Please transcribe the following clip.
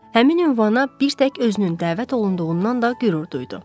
Həmin ünvana bir tək özünün dəvət olunduğundan da qürur duydu.